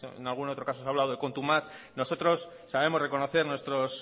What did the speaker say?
en algún otro caso se ha hablado de nosotros sabemos reconocer nuestros